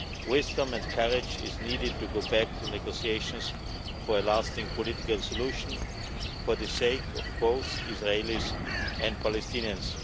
Wisdom and courage are needed in order to go back to the negotiations for a lasting political solution for the sake of both Israelis and Palestinians.